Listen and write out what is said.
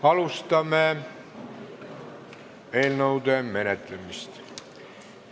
Alustame eelnõude menetlemist.